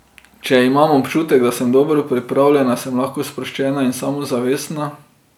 Če imam občutek, da sem dobro pripravljena, sem lahko sproščena in samozavestna.